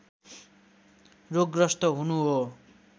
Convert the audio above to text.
रोगग्रस्त हुनु हो